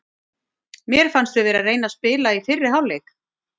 Mér fannst við vera að reyna að spila í fyrri hálfleik.